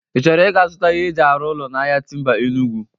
Ị chọrọ ị ga-zụta ihe eji arụ ụlọ n'ahia Timba Enugwu?